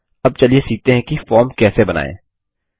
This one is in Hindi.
अब चलिए सीखते हैं कि फॉर्म कैसे बनायें